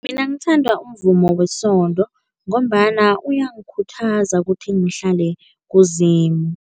Mina ngithanda umvumo wesonto ngombana uyangikhuthaza ukuthi ngihlale kuZimu.